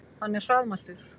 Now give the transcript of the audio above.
Hann er hraðmæltur.